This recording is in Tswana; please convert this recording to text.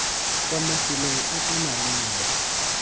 kwa mafelong a a maleba